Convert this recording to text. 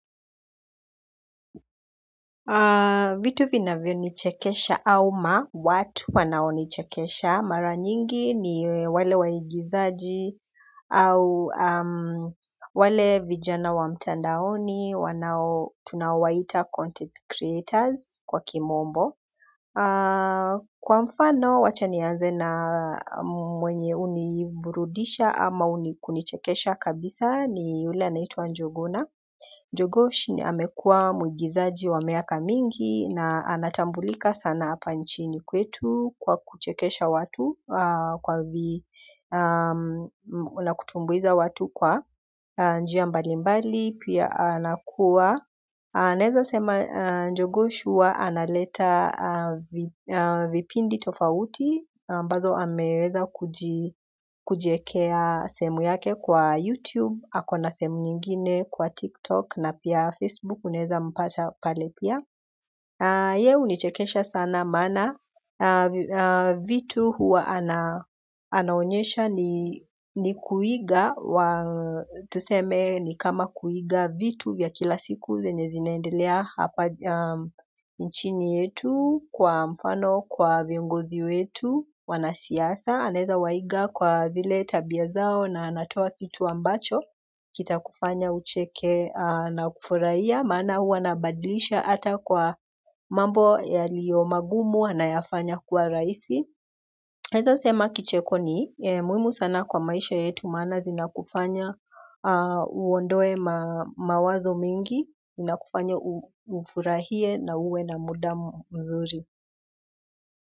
Vitu vinavyonichekesha au watu wanaonichekesha mara nyingi ni wale waigizaji au wale vijana wa mtandaoni wanao tunaowaita content creators kwa kimombo kwa mfano wacha nianze na mwenye huniburudisha ama kunichekesha kabisa ni yule anaitwa njuguna Njugush ni amekuwa muigizaji wa miaka mingi na anatambulika sana hapa nchini kwetu kwa kuchekesha watu kwa vi na kutumbuiza watu kwa njia mbalimbali pia anakuwa naezasema njugush huwa analeta vipindi tofauti ambazo ameweza kujiekea sehemu yake kwa youtube, ako na sehemu nyingine kwa tiktok na pia facebook unaezampata pale pia. Ye hunichekesha sana maana vitu huwa anaonyesha ni kuiga tuseme ni kama kuiga vitu vya kila siku zenye zinaendelea hapa nchini yetu kwa mfano kwa viongozi wetu wanasiasa anaezawaiga kwa zile tabia zao na anatoa kitu ambacho kitakufanya ucheke na kufurahia maana huwa anabadilisha hata kwa mambo yaliyo magumu anayafanya kuwa rahisi. Naezasema kicheko ni muhimu sana kwa maisha yetu maana zinakufanya uondoe mawazo mengi inakufanya ufurahie na uwe na muda mzuri.